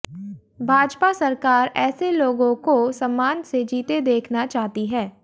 भाजपा सरकार ऐसे लोगों को सम्मान से जीते देखना चाहती है